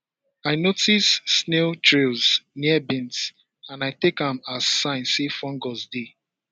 i notice snail trails near beans and i take am as sign say fungus dey